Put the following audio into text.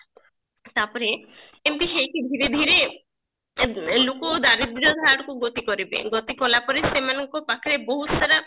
ତାପରେ ଏମତି ହୁଏ କି ଧୀରେ ଧୀରେ ଏ ଲୋକ ଦାରିଦ୍ର୍ଯତା ଆଡକୁ ଗତି କରିବେ ଗତି କଲା ପରେ ସେମାନଙ୍କୁ ପାଖରେ ବହୁତ ସାରା